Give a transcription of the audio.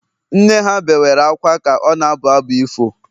nne ha bewere akwa ka ọ na-abụ abụ ifo